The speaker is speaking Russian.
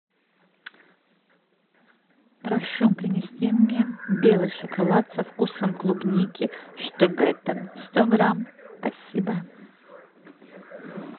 прошу принести мне белый шоколад со вкусом клубники штогеттен сто грамм спасибо